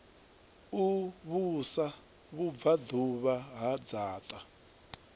u vhusa vhubvaḓuvha ha dzaṱa